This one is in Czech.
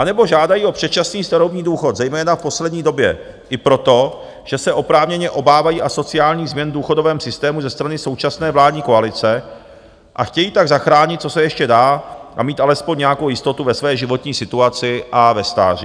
Anebo žádají o předčasný starobní důchod zejména v poslední době i proto, že se oprávněně obávají asociálních změn v důchodovém systému ze strany současné vládní koalice a chtějí tak zachránit, co se ještě dá a mít alespoň nějakou jistotu ve své životní situaci a ve stáří.